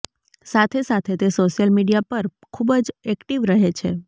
સાથે સાથે તે સોશિયલ મીડિયા પર ખુબ જ એક્ટિવ રહે છે